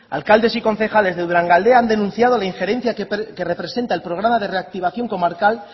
alcaldes y concejales de durangaldea han denunciado la injerencia que representa el programa de reactivación comarcal